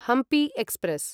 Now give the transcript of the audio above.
Hampi express